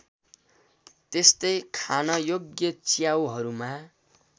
त्यस्तै खानयोग्य च्याउहरूमा